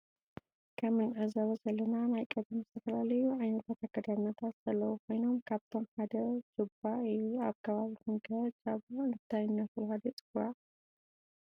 ከም እንዕዞቦ ዘለና ናይ ቀደመ ዝተፈላለዩ ዓየነት አከዳዳናታት ዘለው ኮይኖም ካብአቶ ሓደ ጃባ እዩ። አብ ከባቢኩም ከ ጃባ እንታይ እነናተባህለ ይፅዋዕ?